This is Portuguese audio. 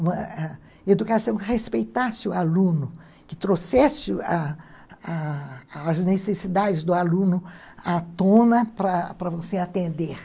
Uma ãh educação que respeitasse o aluno, que trouxesse a a as necessidades do aluno à tona para para você atender.